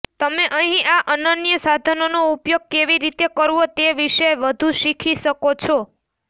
તમે અહીં આ અનન્ય સાધનનો ઉપયોગ કેવી રીતે કરવો તે વિશે વધુ શીખી શકો છો